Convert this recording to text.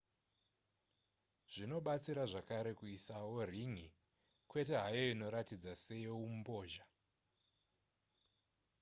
zvinobatsira zvakare kuisawo rin'i kwete hayo inoratidza seyeumbozha